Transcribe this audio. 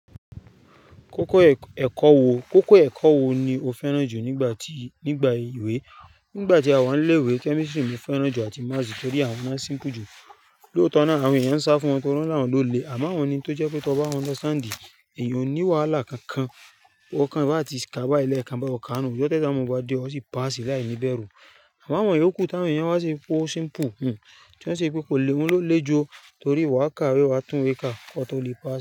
Kókó ẹ̀kọ́ wo, kókó ẹ̀kọ́ wo ni o fẹ́ràn jù nígbà tí, nígbà ìwé? Nígbà tí a wà ní ilé'wé, kemistri ni mi fẹ́ràn jù àti Maasi torí àwọn náà rorun jù. Lóòótọ́ náà, àwọn èèyàn ń sá fún wọn torí wọ́n lárùn ló le, àmọ́ àwọn ni tó jẹ́ pé tó bá ye ẹ, èèyàn ò ní wàhálà kankan. Ó kan bá ti kà bá lẹ kan bá ọ ká nù, ọjọ́ ti esamu bá dé, o sì pass láìní bẹ́rù. Àmọ́ àwọn èyí òkú táwọn èèyàn wá ṣe pe o rorun, ti wọn ṣe pé kò lè wọn ló le juu torí wàkàa wé wa tún wé kàa, k'ọ̀to lè pass.